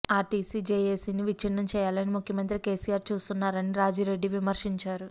RTC జేఏసీని విచ్చిన్నం చేయాలని ముఖ్యమంత్రి కేసీఆర్ చూస్తున్నారని రాజిరెడ్డి విమర్శించారు